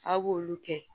Aw b'olu kɛ